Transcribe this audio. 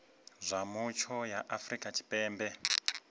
zwa mutsho ya afrika tshipembe